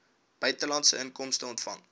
buitelandse inkomste ontvang